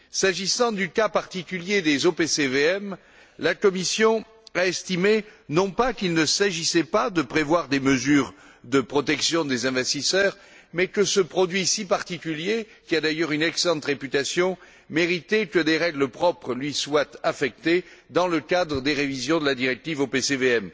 S'agissant du cas particulier des OPCVM, la Commission a estimé non pas qu'il ne s'agissait pas de prévoir des mesures de protection des investisseurs, mais que ce produit si particulier, qui a d'ailleurs une excellente réputation, méritait que des règles propres lui soient attribuées dans le cadre des révisions de la directive OPCVM.